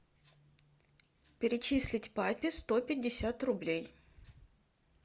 перечислить папе сто пятьдесят рублей